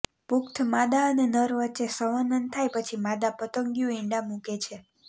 પુખ્ત માદા અને નર વચ્ચે સંવનન થાય પછી માદા પતંગિયું ઈંડાં મૂકે છે